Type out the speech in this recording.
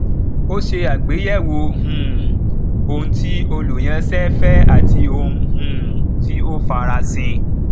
ó ṣe àgbéyẹwò um ohun tí olúyánṣẹ fẹ àti ohun um tí o farasin